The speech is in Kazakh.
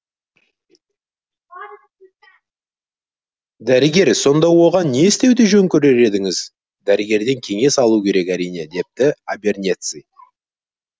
дәрігер сонда оған не істеуді жөн көрер едіңіз дәрігерден кеңес алу керек әрине депті абернеци